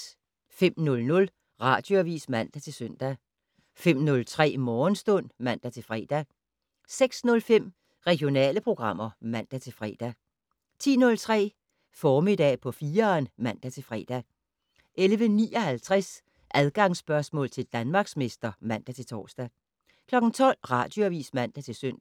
05:00: Radioavis (man-søn) 05:03: Morgenstund (man-fre) 06:05: Regionale programmer (man-fre) 10:03: Formiddag på 4'eren (man-fre) 11:59: Adgangsspørgsmål til Danmarksmester (man-tor) 12:00: Radioavis (man-søn)